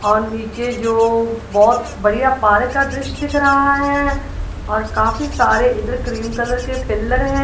और नीचे जो बहोत बढ़िया पार्क का दृश्य दिख रहा है और काफी सारे इधर क्रीम कलर के पिलर हैं।